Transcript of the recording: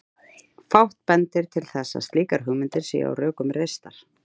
Fátt bendir til þess að slíkar hugmyndir séu á rökum reistar.